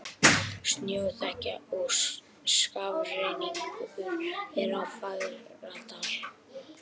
Snjóþekja og skafrenningur er á Fagradal